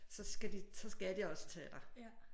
Så skal de så skal de også tage dig